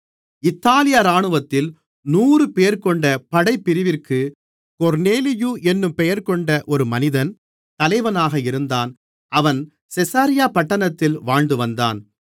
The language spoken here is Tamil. இத்தாலியா இராணுவத்தில் நூறுபேர்கொண்ட படைப்பிரிவிற்கு கொர்நேலியு என்னும் பெயர்கொண்ட ஒரு மனிதன் தலைவனாக இருந்தான் அவன் செசரியா பட்டணத்தில் வாழ்ந்து வந்தான்